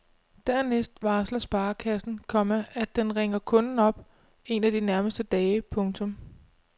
Dernæst varsler sparekassen, komma at den ringer kunden op en af de nærmeste dage. punktum